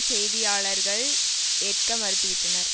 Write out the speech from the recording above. செய்தியாளர்கள் ஏற்க மறுத்து விட்டனர்